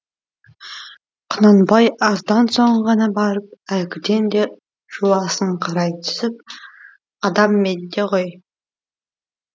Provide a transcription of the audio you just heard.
құнанбай аздан соң ғана барып әлгіден де жуасыңқырай түсіп адам менде ғой